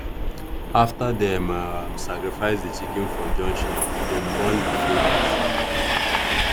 after dem um sacrifice the chicken for junction dem burn the feathers.